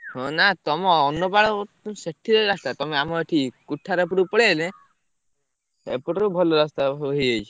ହଁ ନା ତମ ଅନ୍ନପାଳ ସେଠି ଯାଇ ରାସ୍ତା, ତମେ ଆମ ଏଠି କୁଥାର ପୁର ପଳେଇଆଇଲେ, ଏପଟରୁ ଭଲ ରାସ୍ତାସବୁ ହେଇଯାଇଛି,